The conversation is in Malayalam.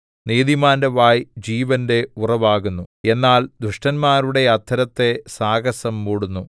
നീതിമാന്റെ വായ് ജീവന്റെ ഉറവാകുന്നു എന്നാൽ ദുഷ്ടന്മാരുടെ അധരത്തെ സാഹസം മൂടുന്നു